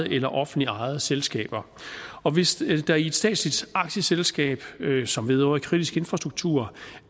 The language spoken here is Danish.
eller offentligt ejede selskaber og hvis der i et statsligt aktieselskab som vedrører kritisk infrastruktur